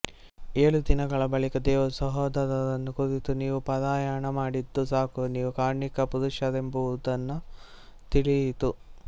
ಏಳು ದಿನಗಳ ಬಳಿಕ ದೇವರು ಸಹೋದರರನ್ನು ಕುರಿತು ನೀವು ಪಾರಾಯಣ ಮಾಡಿದ್ದು ಸಾಕು ನೀವು ಕಾರ್ಣಿಕ ಪುರುಷರೆಂಬುದನ್ನು ತಿಳಿಯಿತು